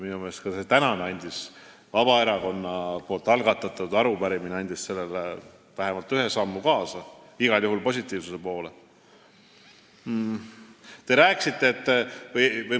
Minu meelest aitas ka see Vabaerakonna algatatud arupärimine sellele kaasa vähemalt ühe sammuga positiivsuse poole.